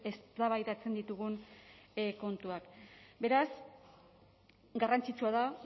eztabaidatzen ditugun kontuak beraz garrantzitsua da